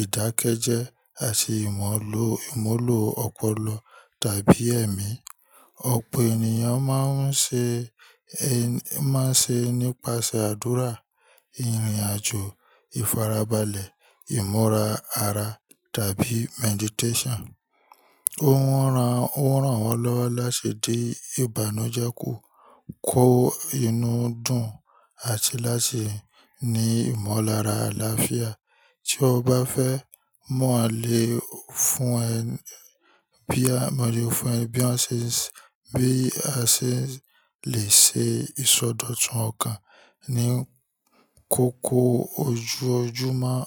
ìdákẹ́jẹ́ àti ìmọ́lo ìmọ́lò ọpọlọ tàbí ẹ̀mí. Ọ̀pọ̀ ènìyàn máa ń ṣe, ẹ máa ń ṣe nípasẹ̀ àdúrà, ìrìnàjò, ìfarabalẹ̀, ìmúra ara tàbí meditation. Ó rán, ó rán wọn lọ́wọ́ láṣẹ dé ìbànújẹ́ ku, kó inú dùn àti láti ní ìmọ̀lára àlàáfíà. Tí o bá fẹ́ mọ̀ alẹ́ fún ẹ bí, mọ́lé fún ẹ bí a ṣe bi a se lè ṣe ìsọdọ̀tún ọkàn ní kókó ojú ojúmọ́.